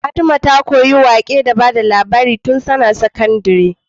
Fatima ta koyi waƙe da bada labari tun tAna sakandari